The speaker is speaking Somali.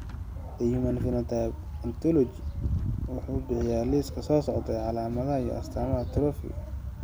The Human Phenotype Ontology wuxuu bixiyaa liiska soo socda ee calaamadaha iyo astaamaha atrophy Dentatorubral pallidoluysian.